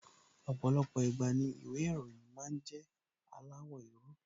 Ọ̀pọ̀lọpọ̀ ìgbà ni ìwé ìròyìn máa ń jẹ́ aláwọ̀ éérú